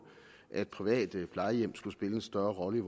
at private plejehjem skulle spille en større rolle